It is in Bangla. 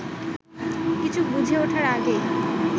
কিছু বুঝে ওঠার আগেই